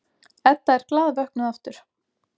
Edda er glaðvöknuð aftur.